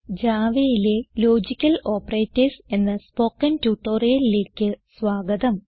Javaയിലെ logical operators എന്ന spoken ട്യൂട്ടോറിയലിലേക്ക് സ്വാഗതം